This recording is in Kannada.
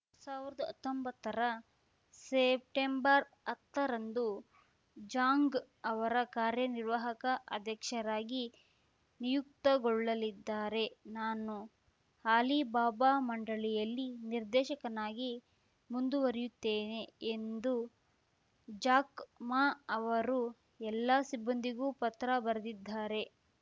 ಸಾವಿರ್ದ್ ಹತ್ತೊಂಬತ್ತರ ಸೆಪ್ಟೆಂಬರ್ಹತ್ತರಂದು ಝಾಂಗ್‌ ಅವರ ಕಾರ್ಯನಿರ್ವಾಹಕ ಅಧ್ಯಕ್ಷರಾಗಿ ನಿಯುಕ್ತಗೊಳ್ಳಲಿದ್ದಾರೆ ನಾನು ಅಲಿಬಾಬಾ ಮಂಡಳಿಯಲ್ಲಿ ನಿರ್ದೇಶಕನಾಗಿ ಮುಂದುವರಿಯುತ್ತೇನೆ ಎಂದು ಜಾಕ್‌ ಮಾ ಅವರು ಎಲ್ಲಾ ಸಿಬ್ಬಂದಿಗೂ ಪತ್ರ ಬರೆದಿದ್ದಾರೆ